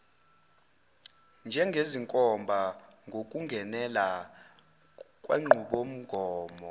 njengezinkomba ngokungenelela kwenqubomgomo